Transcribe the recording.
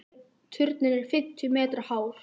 Turninn er fimmtíu metra hár.